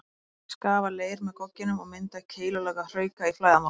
Þeir skafa leir með gogginum og mynda keilulaga hrauka í flæðarmálinu.